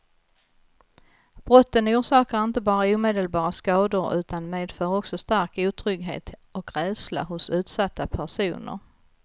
Brotten orsakar inte bara omedelbara skador utan medför också stark otrygghet och rädsla hos utsatta personer.